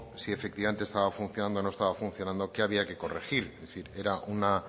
si efectivamente estaba funcionando o no estaba funcionando o qué había que corregir es decir era una